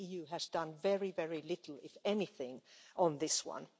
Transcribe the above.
And the EU has done very, very little, if anything, on this one.